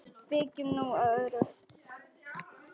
Víkjum nú að öðru.